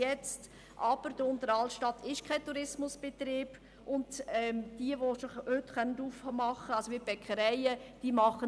In der Unteren Altstadt, die kein Tourismusgebiet ist, können einzelne Geschäfte wie Bäckereien schon heute aufmachen.